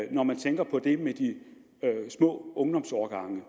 når man tænker på det med de små ungdomsårgange